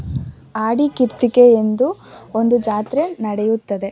ಆಡಿ ಕಿಟ್ಟಿಗೆ ಎಂದು ಒಂದು ಜಾತ್ರೆ ನಡೆಯುತ್ತದೆ.